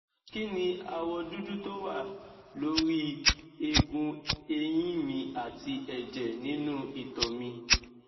kí ni awọ dúdú tó wà lórí ẹgùn eyin mi àti ẹjẹ ninu ito mi